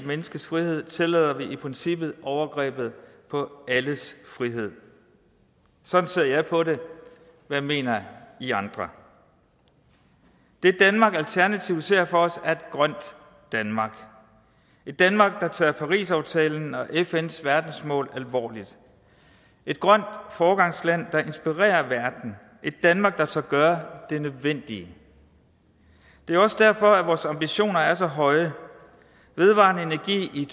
menneskes frihed tillader vi i princippet overgreb på alles frihed sådan ser jeg på det hvad mener i andre det danmark alternativet ser for sig er et grønt danmark et danmark der tager parisaftalen og fns verdensmål alvorligt et grønt foregangsland der inspirerer verden et danmark der tør gøre det nødvendige det er også derfor vores ambitioner er så høje vedvarende energi i